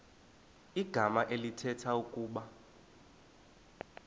igama elithetha ukuba